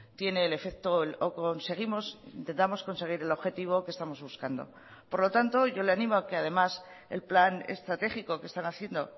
tiene el efecto o conseguimos intentamos conseguir el objetivo que estamos buscando por lo tanto yo le animo a que además el plan estratégico que están haciendo